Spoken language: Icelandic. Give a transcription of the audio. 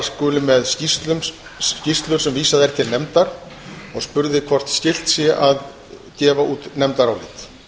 skuli með skýrslur sem vísað er til nefndar og spurði hvort skylt sé að gefa út nefndarálit